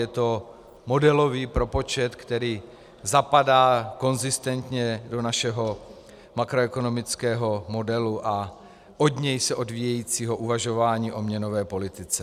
Je to modelový propočet, který zapadá konzistentně do našeho makroekonomického modelu a od něj se odvíjejícího uvažování o měnové politice.